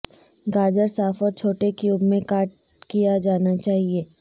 گاجر صاف اور چھوٹے کیوب میں کاٹ کیا جانا چاہئے